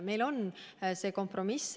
See on meie kompromiss.